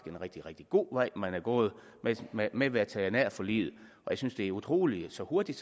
en rigtig rigtig god vej man er gået med med veterinærforliget og jeg synes det er utroligt så hurtigt